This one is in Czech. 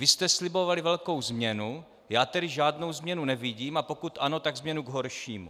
Vy jste slibovali velkou změnu, já tedy žádnou změnu nevidím, a pokud ano, tak změnu k horšímu.